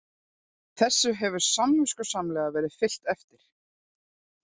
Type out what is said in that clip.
Þessu hefur samviskusamlega verið fylgt eftir